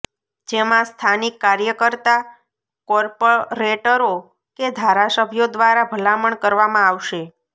જેમાં સ્થાનિક કાર્યકર્તા કોર્પોરેટરો કે ધારાસભ્યો દ્વારા ભલામણ કરવામાં આવશે